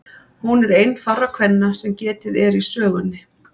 Hún er ein fárra kvenna sem getið er í sögunni.